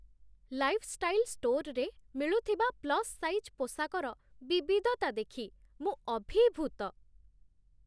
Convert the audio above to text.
Lifestyle ଷ୍ଟୋର୍‌ରେ ମିଳୁଥିବା ପ୍ଲସ୍ ସାଇଜ୍ ପୋଷାକର ବିବିଧତା ଦେଖି ମୁଁ ଅଭିଭୂତ ।